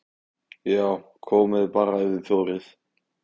JÁ, KOMIÐI BARA EF ÞIÐ ÞORIÐ!